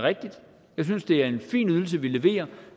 rigtigt jeg synes det er en fin ydelse vi leverer